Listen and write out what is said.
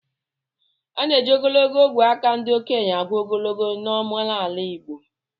A na-eji ogologo ogwe aka ndị okenye agụ ogologo na omenala igbo